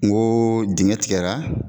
N ko dingɛ tigɛra.